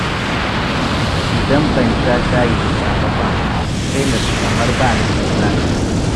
Idan ban sha shayi da safe ba, sai na ji kamar ba ni da kuzari.